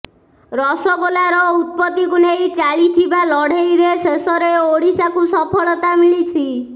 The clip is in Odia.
ରସଗୋଲାର ଉତ୍ପତିକୁ ନେଇ ଚାଳିଥିବା ଲଢେଇରେ ଶେଷରେ ଓଡିଶାକୁ ସଫଳତା ମିଳିଛି